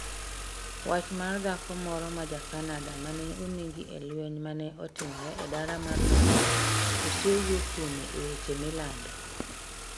Wach mar dhako moro ma Ja-Canada ma ne onegi e lweny ma ne otimore e dala mar London, osewuo kuome e weche milando.